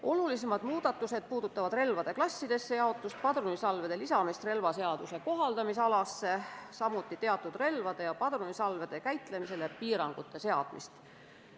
Olulisemad muudatused puudutavad relvade klassidesse jaotamist, padrunisalvede lisamist relvaseaduse kohaldamisalasse, samuti teatud relvade ja padrunisalvede käitlemisele piirangute seadmist.